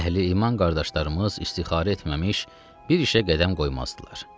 Əhli-iman qardaşlarımız istixarə etməmiş bir işə qədəm qoymazdılar.